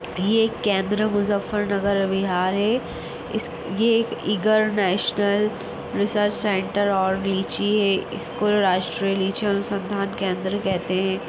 ये केंद्र मुजफरनगर बिहार है इस ये एक ईगर नेशनल रिसर्च सेंटर और लीची है इसको राष्ट्रीय लीची अनुसंधान केंद्र कहते हैं।